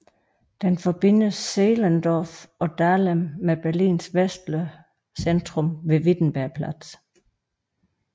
Den forbinder Zehlendorf og Dahlem med Berlins vestlige centrum ved Wittenbergplatz